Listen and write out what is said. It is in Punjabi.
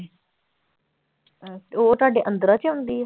ਉਹ ਤੁਹਾਡੇ ਅੰਦਰਾਂ ਚ ਆਉਂਦੀ ਹੈ।